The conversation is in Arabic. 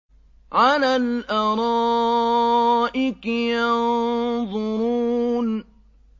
عَلَى الْأَرَائِكِ يَنظُرُونَ